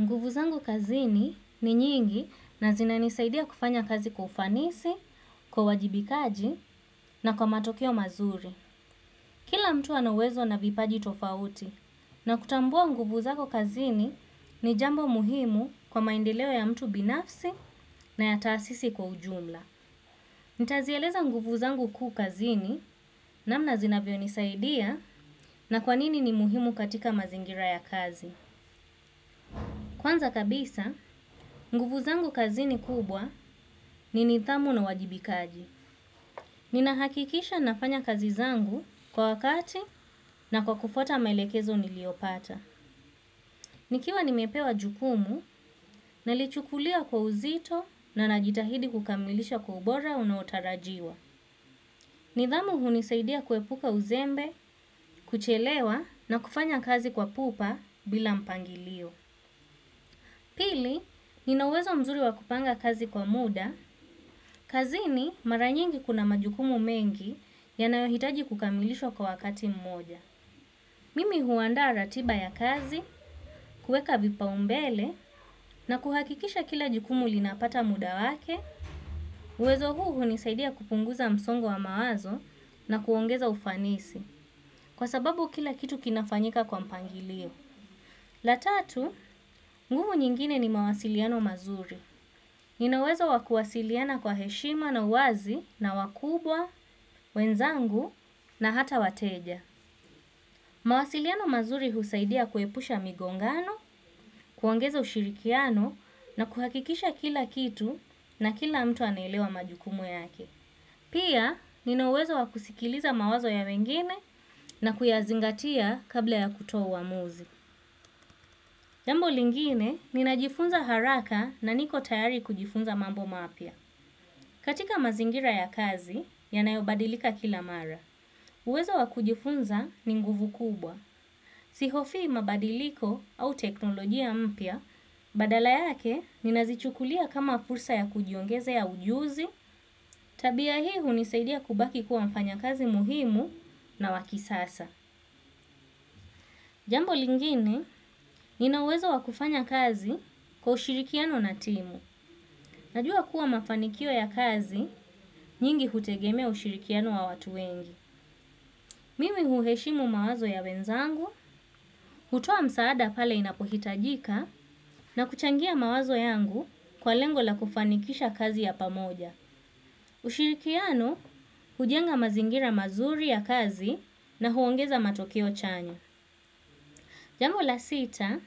Nguvu zangu kazini ni nyingi na zinanisaidia kufanya kazi kwa ufanisi, kwa uwajibikaji na kwa matokeo mazuri. Kila mtu ana uwezo na vipaji tofauti na kutambua nguvu zako kazini ni jambo muhimu kwa maendeleo ya mtu binafsi na ya taasisi kwa ujumla. Nitazieleza nguvu zangu kuu kazini namna zinavyo nisaidia na kwa nini ni muhimu katika mazingira ya kazi. Kwanza kabisa, nguvu zangu kazini kubwa ni nithamu na uwajibikaji. Ninahakikisha nafanya kazi zangu kwa wakati na kwa kufuata melekezo niliyopata. Nikiwa nimepewa jukumu, nalichukulia kwa uzito na najitahidi kukamilisha kwa ubora unaotarajiwa. Nithamu hunisaidia kuepuka uzembe, kuchelewa na kufanya kazi kwa pupa bila mpangilio. Pili, nina uwezo mzuri wa kupanga kazi kwa muda, kazini mara nyingi kuna majukumu mengi yanayohitaji kukamilishwa kwa wakati mmoja. Mimi huandaa ratiba ya kazi, kueka vipaumbele na kuhakikisha kila jukumu linapata muda wake, uwezo huu hunisaidia kupunguza msongo wa mawazo na kuongeza ufanisi kwa sababu kila kitu kinafanyika kwa mpangilio. La tatu, nguvu nyingine ni mawasiliano mazuri. Nina uwezo wa kuwasiliana kwa heshima na uwazi na wakubwa, wenzangu na hata wateja. Mawasiliano mazuri husaidia kuepusha migongano, kuongeza ushirikiano na kuhakikisha kila kitu na kila mtu anaelewa majukumu yake. Pia, nina uwezo wa kusikiliza mawazo ya wengine na kuyazingatia kabla ya kutoa uamuzi. Jambo lingine, ninajifunza haraka na niko tayari kujifunza mambo mapya. Katika mazingira ya kazi, yanayobadilika kila mara. Uwezo wa kujifunza ni nguvu kubwa. Sihofii mabadiliko au teknolojia mpya, badala yake, ninazichukulia kama fursa ya kujiongezea ujuzi. Tabia hii hunisaidia kubaki kuwa mfanya kazi muhimu na wa kisasa. Jambo lingine, nina uwezo wa kufanya kazi kwa ushirikiano na timu. Najua kuwa mafanikio ya kazi nyingi hutegemea ushirikiano wa watu wengi. Mimi huheshimu mawazo ya wenzangu, hutoa msaada pale inapohitajika na kuchangia mawazo yangu kwa lengo la kufanikisha kazi ya pamoja. Ushirikiano hujenga mazingira mazuri ya kazi na huongeza matokeo chanya. Jambo la sita,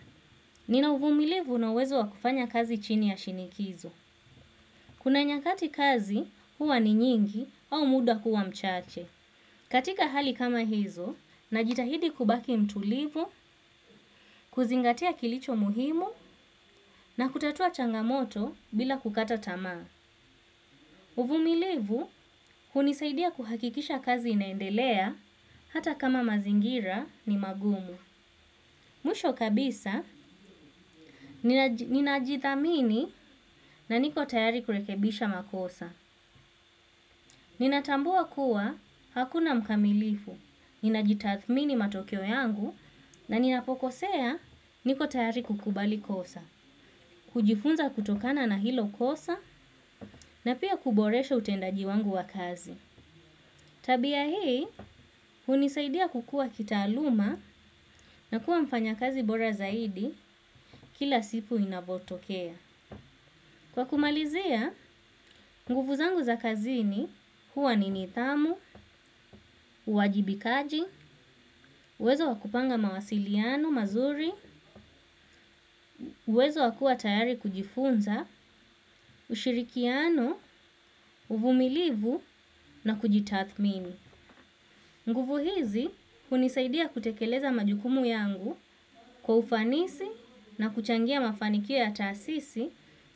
nina uvumilivu na uwezo wa kufanya kazi chini ya shinikizo. Kuna nyakati kazi huwa ni nyingi au muda kuwa mchache. Katika hali kama hizo, najitahidi kubaki mtulivu, kuzingatia kilicho muhimu na kutatua changamoto bila kukata tamaa. Uvumilivu, hunisaidia kuhakikisha kazi inaendelea hata kama mazingira ni magumu. Mwisho kabisa, ninajithamini na niko tayari kurekebisha makosa. Ninatambua kuwa, hakuna mkamilifu. Ninajitathmini matokeo yangu na ninapokosea niko tayari kukubali kosa. Kujifunza kutokana na hilo kosa na pia kuboresha utendaji wangu wa kazi. Tabia hii, hunisaidia kukua kitaaluma na kuwa mfanya kazi bora zaidi kila siku inavotokea. Kwa kumalizia, nguvu zangu za kazini huwa ni nithamu, uwajibikaji, uwezo wakupanga mawasiliano, mazuri, uwezo wa kua tayari kujifunza, ushirikiano, uvumilivu na kujitathmini. Nguvu hizi hunisaidia kutekeleza majukumu yangu kwa ufanisi na kuchangia mafanikio ya taasisi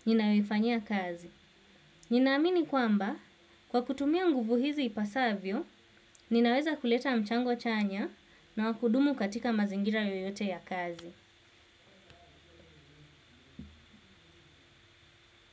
ninayoifanyia kazi. Ninaamini kwamba, kwa kutumia nguvu hizi ipasavyo, ninaweza kuleta mchango chanya na wa kudumu katika mazingira yoyote ya kazi.